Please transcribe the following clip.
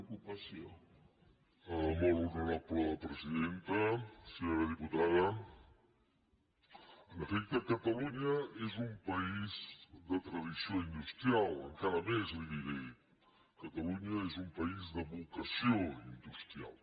senyora diputada en efecte catalunya és un país de tradició industrial encara més li ho diré catalunya és un país de vocació industrial